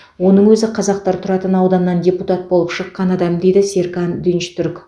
оның өзі қазақтар тұратын ауданнан депутат болып шыққан адам дейді серкан динчтүрк